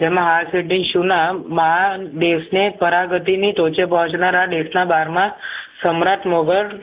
તેમાં ના બાણા દેશને પોરાગતીની ટોચે પહોંચનારા દેશના બારના સમ્રાટ મુગલ